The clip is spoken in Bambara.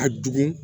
A dug